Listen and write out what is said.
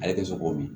Ale tɛ sɔn k'o min